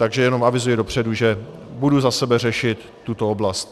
Takže jenom avizuji dopředu, že budu za sebe řešit tuto oblast.